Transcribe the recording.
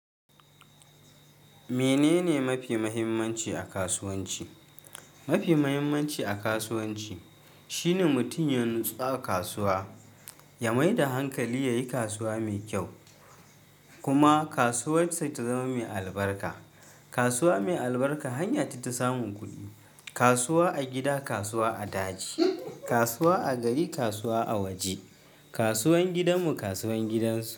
Menene mafi muhimmanci a kasuwanci? Mafi muhimmanci a kasuwanci shine mutum ya natsu a kasuwa, ya mai da hankali yayi kasuwa mai kyau kuma kasuwar sa ta zama mai albarka. Kasuwa mai albarka, hanya ita ta samun kuɗi. Kasuwa a gida, kasuwa a daji, kasuwa a gari, kasuwa a waje. Kasuwan gidanmu, kasuwan gidansu.